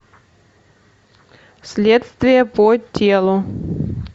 следствие по телу